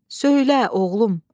Söylə, oğlum.